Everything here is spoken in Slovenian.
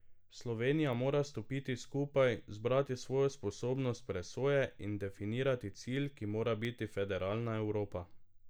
Slovenija mora stopiti skupaj, zbrati svojo sposobnost presoje in definirati cilj, ki mora biti federalna Evropa.